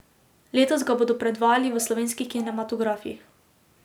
Letos ga bodo predvajali v slovenskih kinematografih.